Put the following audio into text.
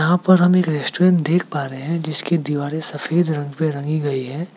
यहां पर हम एक रेस्टोरेंट देख पा रहे हैं जिसकी दीवारें सफेद रंग पे रंगी गई है।